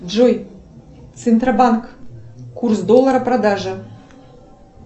джой центробанк курс доллара продажи